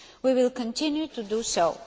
We will continue to do so.